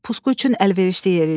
Pusqu üçün əlverişli yer idi.